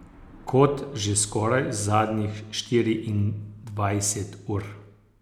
Kot že skoraj zadnjih štiriindvajset ur.